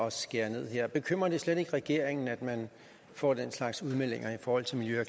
at skære ned her bekymrer det slet ikke regeringen at man får den slags udmeldinger i forhold til miljø